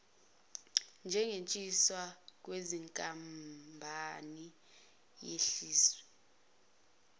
njengoshintshwa kwezinkampani yehliswe